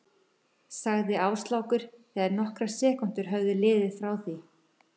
sagði Áslákur þegar nokkrar sekúndur höfðu liðið frá því